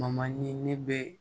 ne bɛ